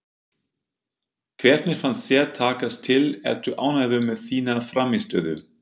Hvernig fannst þér takast til, ertu ánægður með þína frammistöðu?